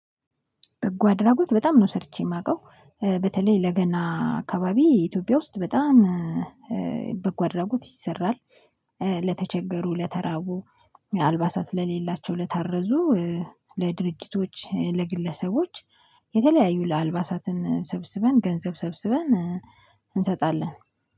በጎ አድራጎት በጣም ነው ሰርቼ የማውቀው በተለይ ለገና አካባቢ ኢትዮጵያ ውስጥ በጣም በጎ አድራጎት ይሰራል። ለተቸገሩ ለተራቡ አልባሳት ለሌላቸው ለታረዙ። ለድርጅቶች ለግለሰቦች የተለያዩ አልባሳትን ሰብስበን ገንዘብ ሰብስበን እንሰጣለን